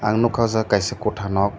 ang nogka o jaga kaisa kota nog.